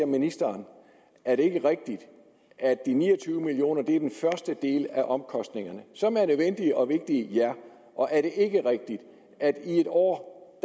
ministeren er det ikke rigtigt at de ni og tyve million kroner er den første del af omkostningerne som er nødvendige og vigtige og er det ikke rigtigt at i et år